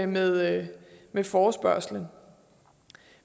med med forespørgslen